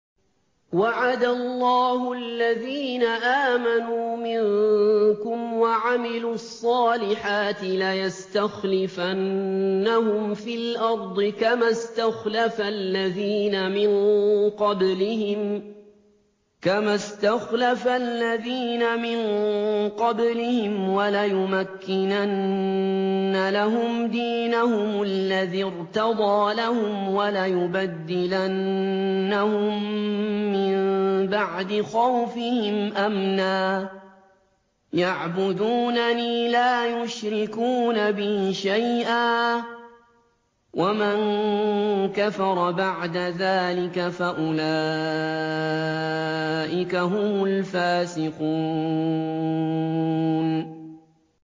وَعَدَ اللَّهُ الَّذِينَ آمَنُوا مِنكُمْ وَعَمِلُوا الصَّالِحَاتِ لَيَسْتَخْلِفَنَّهُمْ فِي الْأَرْضِ كَمَا اسْتَخْلَفَ الَّذِينَ مِن قَبْلِهِمْ وَلَيُمَكِّنَنَّ لَهُمْ دِينَهُمُ الَّذِي ارْتَضَىٰ لَهُمْ وَلَيُبَدِّلَنَّهُم مِّن بَعْدِ خَوْفِهِمْ أَمْنًا ۚ يَعْبُدُونَنِي لَا يُشْرِكُونَ بِي شَيْئًا ۚ وَمَن كَفَرَ بَعْدَ ذَٰلِكَ فَأُولَٰئِكَ هُمُ الْفَاسِقُونَ